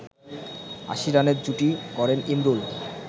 ৮০ রানের জুটি গড়েন ইমরুল